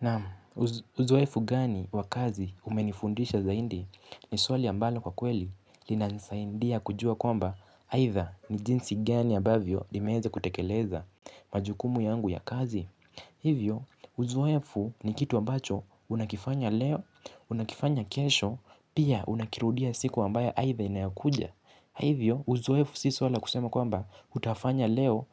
Naam, uzoefu gani wa kazi umenifundisha zaidi ni swali ambalo kwa kweli linanisaidia kujua kwamba aidha ni jinsi gani ambavyo nimeeza kutekeleza majukumu yangu ya kazi. Hivyo uzoefu ni kitu ambacho unakifanya leo unakifanya kesho pia unakirudia siku ambayo aidha inayokuja. Hivyo uzoefu si suala la kusema kwamba utafanya leo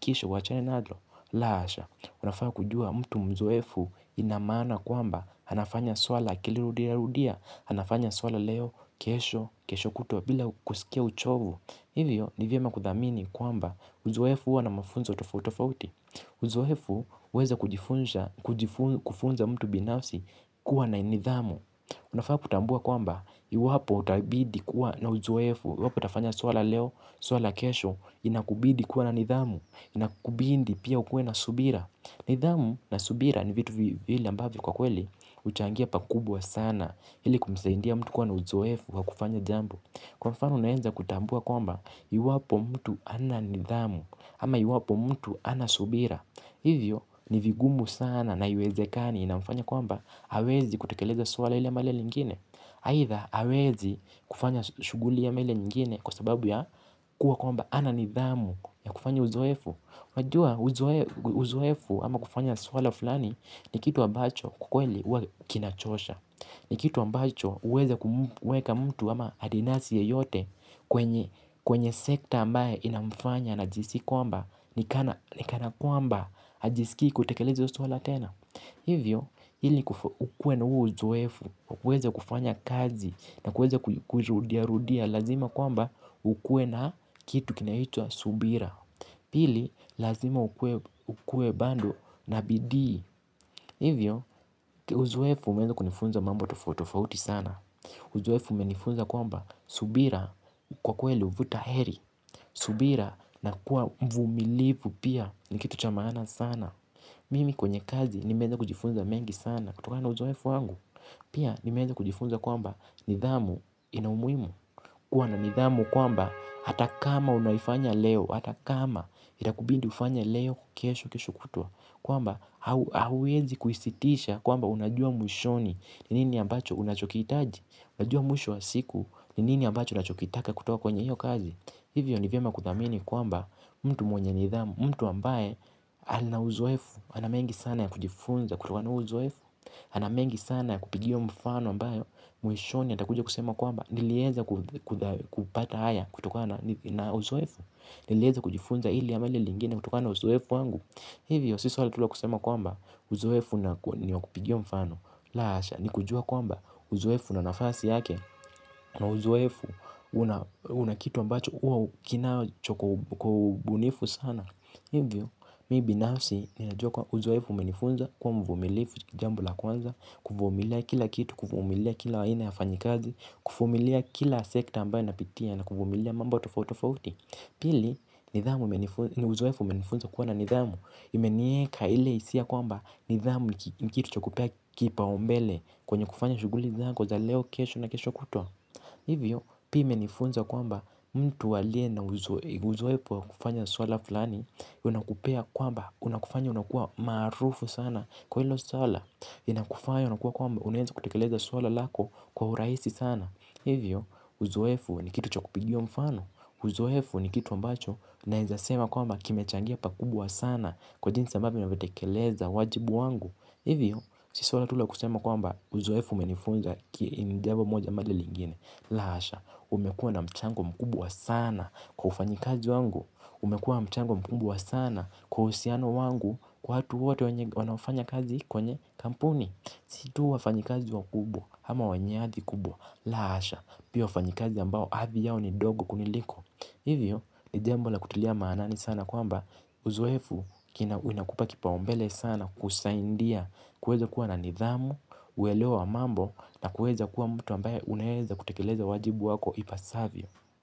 kisha uwachane nalo la hasha. Unafaa kujua mtu mzoefu ina maana kwamba anafanya suala akilirudiarudia anafanya suala leo kesho kesho kutwa bila kusikia uchovu. Hivyo ni vyema kuthamini kwamba uzoefu huwa na mafunzo tofauti tofauti. Uzoefu huweza kufunza mtu binafsi kuwa na nidhamu. Unafaa kutambua kwamba, iwapo utabidi kuwa na uzoefu iwapo utafanya suala leo, suala kesho, inakubidi kuwa na nidhamu. Inakubidi pia ukuwe na subira. Nidhamu na subira ni vitu vile ambavyo kwa kweli huchangia pakubwa sana, ili kumsaidia mtu kuwa na uzoefu wa kufanya jambo. Kwa mfano unaeza kutambua kwamba, iwapo mtu hana nidhamu ama iwapo mtu hana subira. Hivyo, ni vigumu sana na haiwezekani inamfanya kwamba hawezi kutekeleza suala ile ama lile lengine aidha hawezi kufanya shughuli ama ile nyingine. Kwa sababu ya kuwa kwamba hana nidhamu ya kufanya uzoefu unajua uzoefu ama kufanya suala fulani. Ni kitu ambacho kwa kweli huwa kinachosha. Ni kitu ambacho huweza kumweka mtu ama adinasi yeyote kwenye sekta ambayo inamufanya anajihisi kwamba ni kana. Ni kana kwamba hajisikii kutekeleza hilo suala tena. Hivyo ili ukuwe na huo uzoefu wa kuweza kufanya kazi na kuweza kurudiarudia lazima kwamba ukuwe na kitu kinaitwa subira. Hili lazima ukuwe bado na bidii. Hivyo uzoefu umeeza kunifunza mambo tofauti tofauti sana. Uzoefu umenifunza kwamba subira kwa kweli huvuta heri. Subira na kuwa mvumilivu pia ni kitu cha maana sana. Mimi kwenye kazi nimeeza kujifunza mengi sana kutokana na uzoefu wangu. Pia nimeeza kujifunza kwamba nidhamu ina umuhimu. Kuwa na nidhamu kwamba hata kama unaifanya leo hata kama itakubidi ufanye leo kesho, kesho kutwa kwamba hauwezi kuisitisha kwamba unajua mwishoni. Ni nini ambacho unachokihitaji. Unajua mwisho wa siku. Ni nini ambacho unachokitaka kutoka kwenye hiyo kazi. Hivyo ni vyema kuthamini kwamba mtu mwenye nidhamu mtu ambaye ana uzoefu. Hana mengi sana ya kujifunza kutokana na huo uzoefu. Ana mengi sana ya kupigiwa mfano ambayo. Mwishoni atakuja kusema kwamba. Nilieza kupata haya kutoka na uzoefu. Nilieza kujifunza hili ama lile lengine kutokana na uzoefu wangu. Hivyo si swali tu la kusema kwamba. Uzoefu nilio kupigia mfano. La hasha nikujua kwamba uzoefu unanafasi yake na uzoefu. Unakitu ambacho. Huwa kinacho kwa ubunifu sana. Hivyo, mimi binafsi ninajua kuwa uzoefu umenifunza kuwa mvumilivu jambo la kwanza. Kuvumilia kila kitu, kuvumilia kila aina ya wafanyi kazi kuvumilia kila sekta ambayo napitia na kuvumilia mambo tofautofauti. Pili, ni uzoefu umenifunza kuwa na nidhamu. Imeniweka ile hisia kwamba nidhamu ni kitu cha kupau mbele kwenye kufanya shughuli zangu za leo kesho na kesho kutwa. Hivyo, pia imenifunza kwamba mtu aliye na uzoefu kwa kufanya swala fulani unakupea kwamba unakufanya unakua maarufu sana kwa hilo swala inakufanya unakuwa kwamba unaweza kutekeleza swala lako kwa urahisi sana. Hivyo uzoefu ni kitu cha kupigiwa mfano. Uzoefu ni kitu ambacho naweza sema kwamba kimechangia pakubwa sana. Kwa jinsa ambavyo navitekeleza wajibu wangu. Hivyo si swala tu la kusema kwamba uzoefu umenifunza jambo moja ama lingine. La hasha, umekuwa na mchango mkubwa sana kwa ufanyikazi wangu. Umekuwa mchango mkubwa sana kwa uhusiano wangu kwa watu wote wanaofanya kazi kwenye kampuni. Si tu wafanyikazi wakubwa ama wanyadhi kubwa la hasha pia wafanyikazi ambao adhi yao ni dogo kuniliko. Hivyo ni jambo la kutilia maanani sana kwamba uzoefu unakupa kipaumbele sana kusaidia kuweza kuwa na nidhamu, uelewa wa mambo na kuweza kuwa mtu ambaye unaweza kutekeleza wajibu wako ipasavyo.